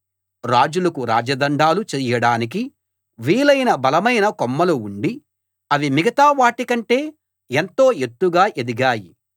రాజులకు రాజదండాలు చెయ్యడానికి వీలైన బలమైన కొమ్మలు ఉండి అవి మిగతా వాటికంటే ఎంతో ఎత్తుగా ఎదిగాయి